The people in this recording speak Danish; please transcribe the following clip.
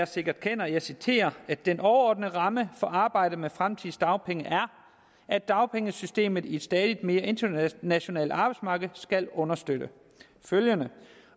sikkert kender og jeg citerer den overordnede ramme for arbejdet med fremtidens dagpenge er at dagpengesystemet i et stadig mere internationalt arbejdsmarked skal understøtte følgende